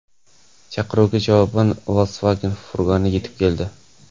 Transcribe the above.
Chaqiruvga javoban Volkswagen furgoni yetib keldi.